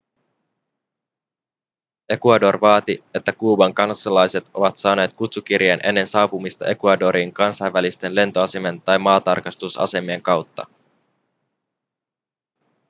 ecuador vaatii että kuuban kansalaiset ovat saaneet kutsukirjeen ennen saapumista ecuadoriin kansainvälisten lentoasemien tai maatarkastusasemien kautta